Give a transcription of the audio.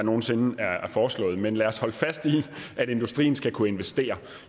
nogen sinde er foreslået men lad os holde fast i at industrien skal kunne investere